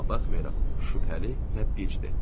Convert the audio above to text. Amma buna baxmayaraq şübhəli və bicdir.